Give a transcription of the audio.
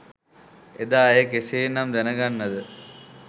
එදා ඇය කෙසේ නම් දැනගන්නද?